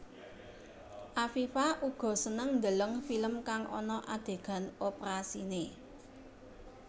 Afifa uga seneng ndeleng film kang ana adegan oprasiné